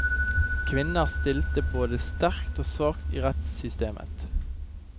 Kvinner stilte både sterkt og svakt i rettssystemet.